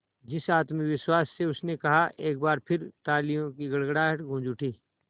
जिस आत्मविश्वास से उसने कहा एक बार फिर तालियों की गड़गड़ाहट गूंज उठी